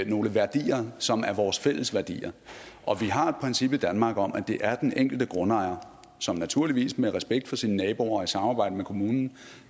nogle værdier som er vores fælles værdier og vi har et princip i danmark om at det er den enkelte grundejer som naturligvis med respekt for sine naboer og i samarbejde med kommunen